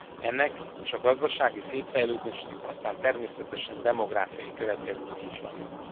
Ennek és a gazdasági szétfejlődésnek aztán természetesen demográfiai következményei is vannak.